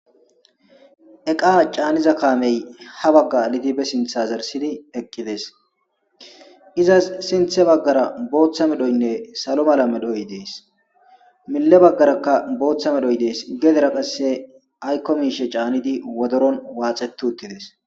Eqa caaniza kaamey ha bagga lidibe sintha zarsidi eqqides izas sinthe baggara booththa medhoynne salo mala medhoy dees mile baggarakka booththa medhoy dees gedera qasse aykko miishe caanidi wodoron waaxetu uttides.